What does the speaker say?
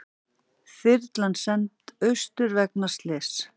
Þyrlan send austur vegna slyss